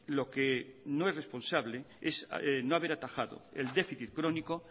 lo que no es responsable es no haber atajado el déficit crónico